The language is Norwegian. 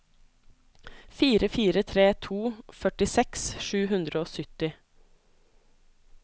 fire fire tre to førtiseks sju hundre og sytti